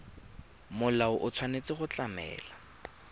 molao o tshwanetse go tlamela